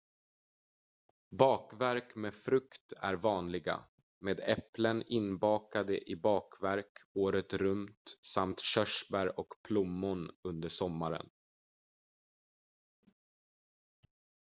bakverk med frukt är vanliga med äpplen inbakade i bakverk året runt samt körsbär och plommon under sommaren